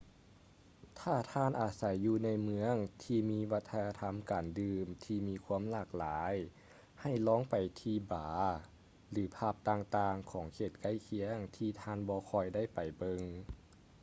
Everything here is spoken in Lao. ຖ້າທ່ານອາໄສຢູ່ໃນເມືອງທີ່ມີວັດທະນະທຳການດື່ມທີ່ມີຄວາມຫຼາກຫຼາຍໃຫ້ລອງໄປທີ່ບາຣ ຫຼື ຜັບຕ່າງໆຂອງເຂດໃກ້ຄຽງທີ່ທ່ານບໍ່ຄ່ອຍໄດ້ໄປເບິ່ງ